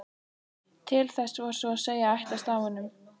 Til þess var svo að segja ætlast af honum.